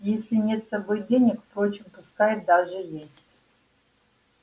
если нет с собой денег впрочем пускай даже есть